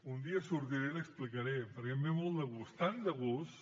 un dia sortiré i l’hi explicaré perquè em ve molt de gust tan de gust